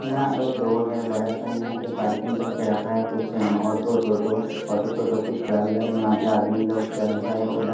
यहाँ एक रोड है बड़ा सा यहाँ पे पार्किंग करके रखा है कुछ ऑटो टोटो ऑटो टोटो कुछ चल रहा है यहाँ पे आदमी लोग चल रहा है उधर--